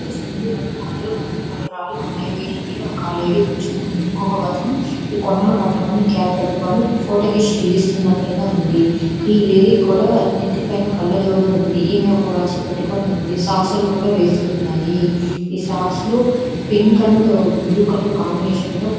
ఈ పిక్చర్ చూడండి. రెండు కొండల మధ్య కొన్ని రాళ్లు ఉన్నాయి.వీటి మీద ఒక లేడీ కూర్చుని ఉంది. ఇంకొక అతను ఈ కొండను పట్టుకుని క్యాప్ పట్టుకొని ఫోటోకి స్టిల్ ఇస్తున్నట్లుగా ఉంది. ఈ లేడికి కూడా నెత్తి పైన కళ్ళజోడు ఉంది. ఈమె ఒక వాచ్ పెట్టుకొని ఉంది. సాక్సు లు వేసి ఉన్నాయి. ఈ సాక్సులు పింక్ అండ్ బ్లూ కలర్ కాంబినేషన్లో ఉన్నా--